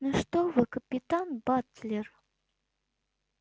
ну что вы капитан батлер